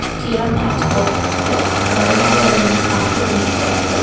கீழ மேட் போட்டுருக்கு அப்புறம் ஒருத்தர் அதுல நின்ன பார்த்துட்டு நிக்காரு.